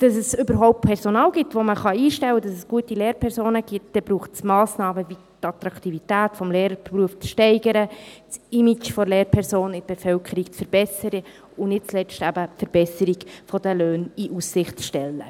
es überhaupt Personal gibt, das man einstellen kann, damit es gute Lehrpersonen gibt, braucht es Massnahmen wie die Attraktivität des Lehrerberufs zu steigern, das Image der Lehrperson in der Bevölkerung zu verbessern und nicht zuletzt eben die Verbesserung der Löhne in Aussicht zu stellen.